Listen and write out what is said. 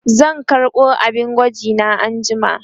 zan karɓo abin gwaji na anjima